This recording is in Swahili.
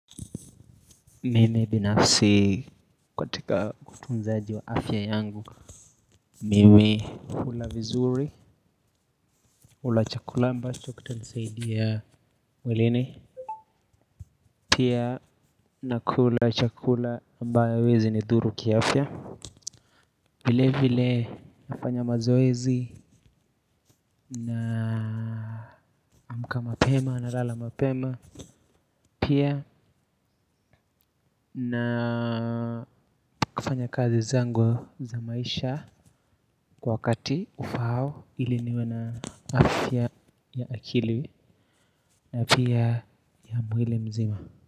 Mimi binafsi katika utunzaji wa afya yangu mimi hula vizuri hula chakula ambacho kitanisaidia ya mwilini. Pia nakula chakula ambayo haiwezi nidhuru kiiafya. Vile vile nafanya mazoezi naamka mapema nalala mapema. Pia na kufanya kazi zangu za maisha kwa wakati ufaao ili niwe na afya ya akili na pia ya mwili mzima.